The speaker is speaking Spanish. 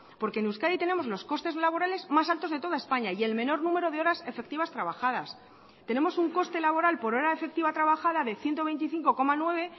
porque en euskadi tenemos los costes laborales más altos de toda españa y el menor número de horas efectivas trabajadas tenemos un coste laboral por hora efectiva trabajada de ciento veinticinco coma nueve